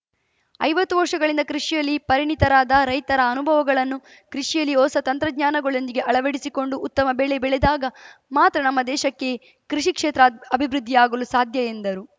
ಐವತ್ತು ವರ್ಷಗಳಿಂದ ಕೃಷಿಯಲ್ಲಿ ಪರಿಣಿತರಾದ ರೈತರ ಅನುಭವಗಳನ್ನು ಕೃಷಿಯಲ್ಲಿ ಹೊಸ ತಂತ್ರಜ್ಞಾನಗಳೊಂದಿಗೆ ಅಳವಡಿಸಿಕೊಂಡು ಉತ್ತಮ ಬೆಳೆ ಬೆಳೆದಾಗ ಮಾತ್ರ ನಮ್ಮ ದೇಶಕ್ಕೆ ಕೃಷಿ ಕ್ಷೇತ್ರ ಅಭಿವೃದ್ಧಿಯಾಗಲು ಸಾಧ್ಯ ಎಂದರು